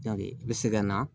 i bɛ se ka na